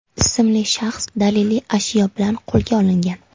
ismli shaxs daliliy ashyo bilan qo‘lga olingan.